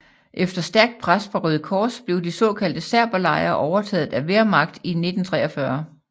Efter stærkt pres fra Røde Kors blev de såkaldte serberlejre overtaget af Wehrmacht i 1943